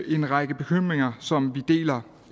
en række bekymringer som vi deler